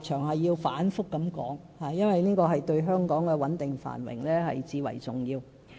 我反覆提出這個立場，因為這對香港的穩定繁榮最為重要。